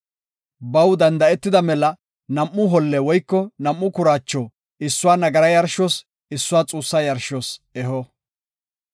Baw danda7etida mela nam7u holle woyko nam7u kuraacho issuwa nagaraa yarshos, issuwa xuussa yarshos eho.